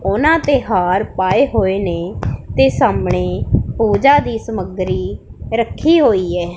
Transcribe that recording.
ਉਹਨਾਂ ਤੇ ਹਾਰ ਪਾਏ ਹੋਏ ਨੇ ਤੇ ਸਾਹਮਣੇ ਪੂਜਾ ਦੀ ਸਮੱਗਰੀ ਰੱਖੀ ਹੋਈ ਹੈ।